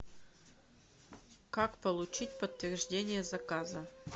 как получить подтверждение заказа